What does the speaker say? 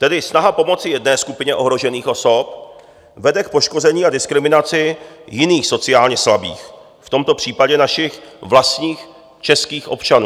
Tedy snaha pomoci jedné skupině ohrožených osob vede k poškození a diskriminaci jiných sociálně slabých, v tomto případě našich vlastních českých občanů.